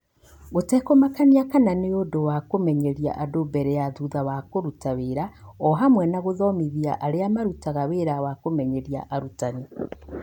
Gũtekũmakania kana nĩ ũndũ wa kũmenyeria andũ mbere kana thutha wa kũruta wĩra, o hamwe na gũthomithia arĩa marutaga wĩra wa kũmenyeria arutani.